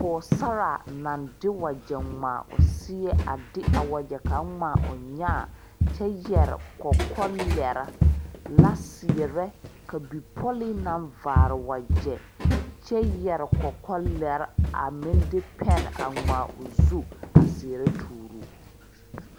Pɔgɔsaraa na de wagye ŋmaa o seɛ a de a wagye kang ŋmaa o nyaa kyɛ yɛre kɔkɔlɛre la seɛrɛ. Ka bipoli na vaare wagye kyɛ yɛre kɔkɔlɛre a meŋ de pɛni a ŋmaa o zu a seɛrɛ tooro o.